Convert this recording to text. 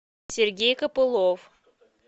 сергей копылов